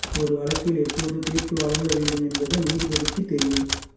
ஒரு வழக்கில் எப்போது தீர்ப்பு வழங்க வேண்டும் என்பது நீதிபதிக்கு தெரியும்